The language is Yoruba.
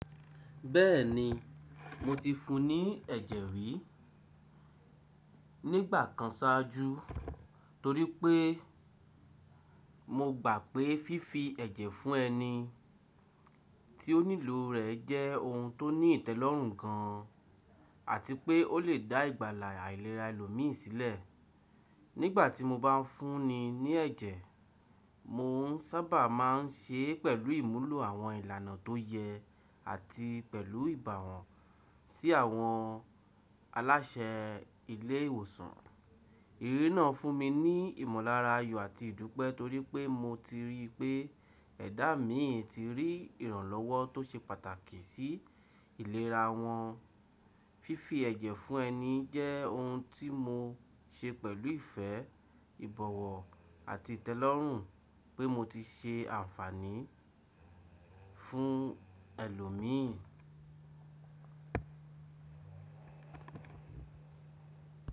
Bẹ́ẹ̀ni, mo ti fún ní ẹ̀jẹ̀ rí nígbà kan sáájú torí pé mo gbà pé fífi ẹ̀jẹ̀ fún ẹni tí ó nílò rẹ̀ jẹ́ ohun tó ní ìtẹ́lọ́rùn gan an àti pé ó lè dá ìgbàlà àìlera ẹlòmíìn sílẹ̀. Nígbà tí mo bá ń fún ni ní ẹ̀jẹ̀, mò ń sábà máa ń ṣe é pẹ̀lú ìmúlò àwọn ìlànà tó yẹ àti pẹ̀lú ìbá wọn sí àwọn aláṣẹ ilé ìwòsàn. Irírí náà fún mi ní ìmọ̀lára ayọ̀ àti ìdúpẹ́ torí pé mo ti rí pé ẹ̀dá mii ti rí ìrànlọ́wọ́ tó ṣe pàtàkì sí ìlera wọ́n. Fífi ẹ̀jẹ̀ fún ẹni jẹ́ ohun tí mo ṣe pẹ̀lú ìfẹ́, ìbọ̀wọ̀ àti ìtẹ́lọ́rùn pé mo ti ṣe àǹfààní fún ẹlòmíìn.